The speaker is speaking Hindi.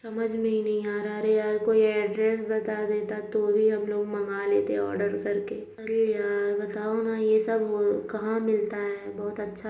समझ में हीं नहीं आ रहा है। अरे यार ये कोई एड्रेस बता देता तो भी हम लोग मंगा लेते आर्डर करके अरे यार बताओ न ये सब कहाँ मिलता है। बहुत अच्छा --